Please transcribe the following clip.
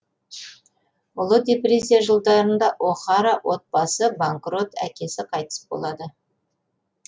ұлы депрессия жылдарында о хара отбасысы банкрот әкесі қайтыс болады